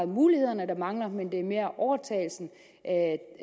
mulighederne der mangler men mere overtalelsen af